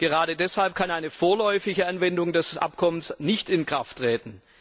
Gerade deshalb kann eine vorläufige Anwendung des Abkommens nicht in Kraft treten.